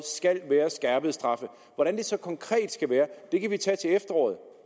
skal være skærpede straffe hvordan det så konkret skal være kan vi tage til efteråret